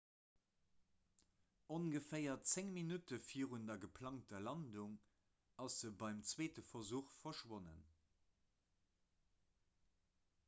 ongeféier 10 minutte virun der geplangter landung ass e beim zweete versuch verschwonnen